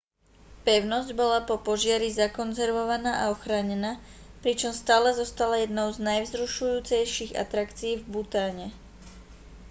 pevnosť bola po požiari zakonzervovaná a ochránená pričom stále zostala jednou z najvzrušujúcejších atrakcií v bhutáne